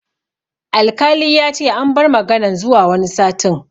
Alkali yace an bar maganan zuwa wani satin